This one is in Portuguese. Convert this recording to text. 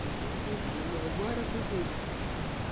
Frequento a igreja. Agora com esse...